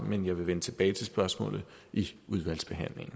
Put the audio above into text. men jeg vil vende tilbage til spørgsmålet i udvalgsbehandlingen